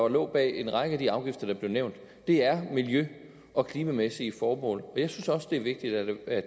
lå bag en række af de afgifter der blev nævnt er miljø og klimamæssige formål jeg synes også det er vigtigt at